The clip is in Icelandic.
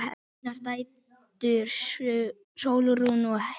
Þínar dætur Sólrún og Heiða.